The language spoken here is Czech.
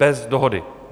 Bez dohody.